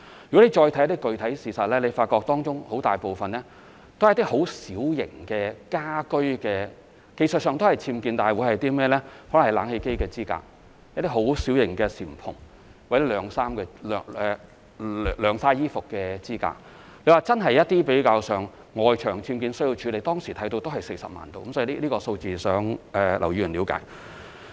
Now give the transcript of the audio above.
如果再看一些具體事實，會發覺當中很大部分是一些很小型的家居上的僭建，可能是冷氣機支架、小型簷篷或晾曬衣服的支架，當時在外牆僭建而真正需要處理的大約是40萬宗，希望劉議員了解這個數字。